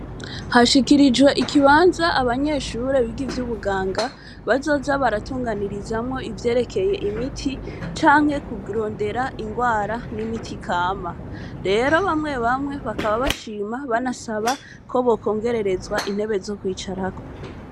Hashikirijwe ikibanza abanyeshure biga ivyo ubuganga bazoza baratunganirizamwo ivyerekeye imiti canke kugrondera ingwara n'imiti ikama rero bamwe bamwe bakaba bashima banasaba ko bokongererezwa intebe zo kwicarako.